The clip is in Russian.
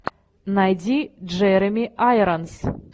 найди джереми айронс